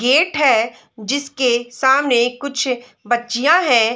Gate है जिसके सामने कुछ बच्चिया है।